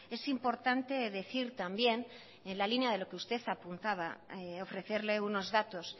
es importante decir también en la línea de lo que usted apuntaba ofrecerle unos datos